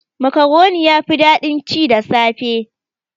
Makaroni yafi daɗin ci da safe.